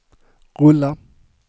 rulla